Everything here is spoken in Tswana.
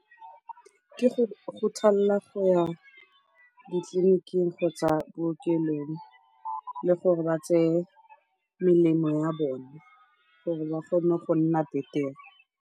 Ke go go ya ditleliniking kgotsa bookelong le gore ba tseye melemo ya bone gore ba kgone go nna betere.